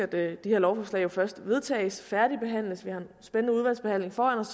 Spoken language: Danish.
det her lovforslag jo først vedtages og færdigbehandles vi har en spændende udvalgsbehandling foran os